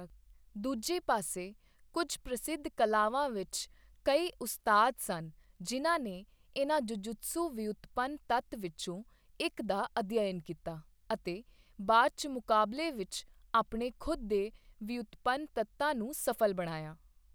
ਦੂਜੇ ਪਾਸੇ, ਕੁਝ ਪ੍ਰਸਿੱਧ ਕਲਾਵਾਂ ਵਿੱਚ ਕਈ ਉਸਤਾਦ ਸਨ ਜਿਨ੍ਹਾਂ ਨੇ ਇਨ੍ਹਾਂ ਜੁਜੁਤਸੂ ਵਿਉਤਪੰਨ ਤੱਤ ਵਿੱਚੋਂ ਇੱਕ ਦਾ ਅਧਿਐਨ ਕੀਤਾ ਅਤੇ ਬਾਅਦ 'ਚ ਮੁਕਾਬਲੇ ਵਿੱਚ ਆਪਣੇ ਖੁਦ ਦੇ ਵਿਉਤਪੰਨ ਤੱਤਾ ਨੂੰ ਸਫ਼ਲ ਬਣਾਇਆ।